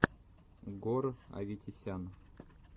гор аветисян